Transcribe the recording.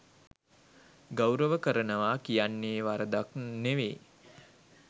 ගෞරව කරනවා කියන්නේ වරදක් නෙවේ.